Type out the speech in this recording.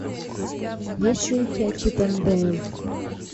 есть ли у тебя чип энд дейл